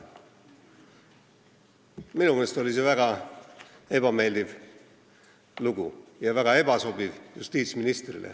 Minu meelest oli see väga ebameeldiv ja justiitsministrile väga ebasobiv.